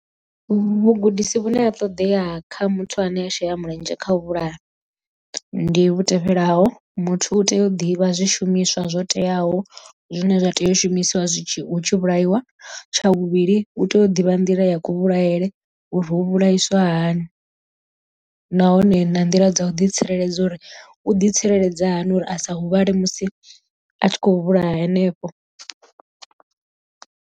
Vhugudisi vhune ha ṱodea kha muthu ane a shela mulenzhe kha u vhulaya ndi vhu tevhelaho, muthu u tea u ḓivha zwishumiswa zwo teaho zwine zwa tea u shumisiwa zwitshi hu tshi vhulaiwa tsha vhuvhili u tea u ḓivha nḓila ya ku vhulaele uri u vhulaisa hani nahone na nḓila dza u ḓitsireledza uri u ḓi tsireledza hani uri a sa huvhale musi a tshi khou vhulaha henefho.